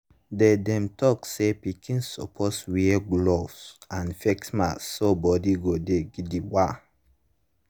sometimes even pikin dem sabi when person dey sick around dem so dem go fit dodge the sickness.